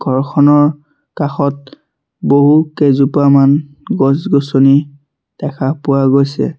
ঘৰখনৰ কাষত বহু কেজোপামান গছ-গছনি দেখা পোৱা গৈছে।